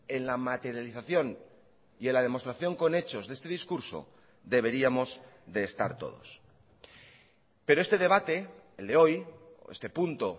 en la materialización y en la demostración con hechos de este discurso deberíamos de estar todos pero este debate el de hoy este punto